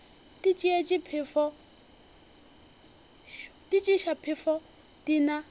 di tšeiša phefo di na